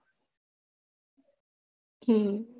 હમ